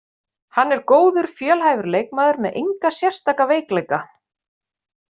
Hann er góður, fjölhæfur leikmaður með enga sérstaka veikleika.